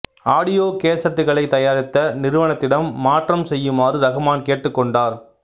audio கேசட்டுகளை தயாரித்த நிறுவனத்திடம் மாற்றம் செய்யுமாறு ரஹ்மான் கேட்டுக் கொண்டார்